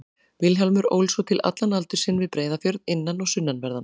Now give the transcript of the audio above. Vilhjálmur ól svo til allan aldur sinn við Breiðafjörð, innan- og sunnanverðan.